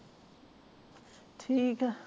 ਠੀਕ ਆ